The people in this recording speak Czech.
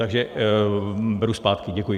Takže beru zpátky, děkuji.